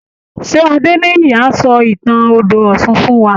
Ṣé Adéníyì á sọ ìtàn odò ọ̀ṣun fún wa?